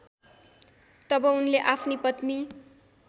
तब उनले आफ्नी पत्नी